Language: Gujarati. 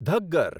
ઘગ્ગર